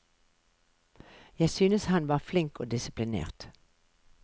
Jeg synes han var flink og disiplinert.